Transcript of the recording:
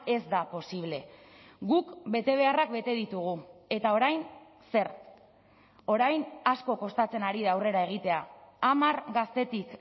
ez da posible guk betebeharrak bete ditugu eta orain zer orain asko kostatzen ari da aurrera egitea hamar gaztetik